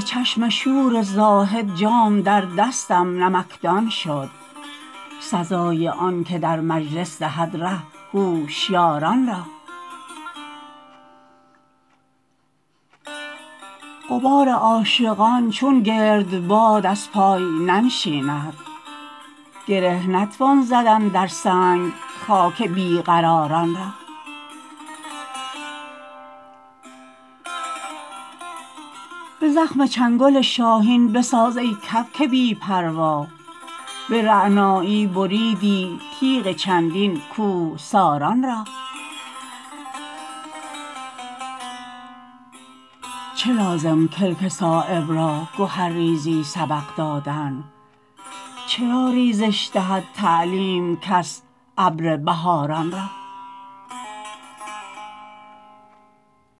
ز چشم شور زاهد جام در دستم نمکدان شد سزای آن که در مجلس دهد ره هوشیاران را غبار عاشقان چون گردباد از پای ننشیند گره نتوان زدن در سنگ خاک بی قراران را به زخم چنگل شاهین بساز ای کبک بی پروا به رعنایی بریدی تیغ چندین کوهساران را چه لازم کلک صایب را گهرریزی سبق دادن چرا ریزش دهد تعلیم کس ابر بهاران را